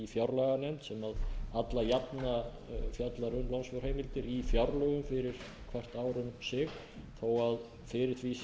fjárlaganefnd sem alla jafna fjallar um lánsfjárheimildir í fjárlögum fyrir hvert ár um sig þó að fyrir því